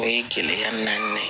O ye kile ka naani ye